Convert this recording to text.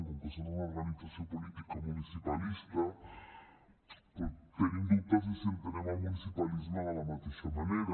com que són una organització política municipalista tenim dubtes de si entenem el municipalisme de la mateixa manera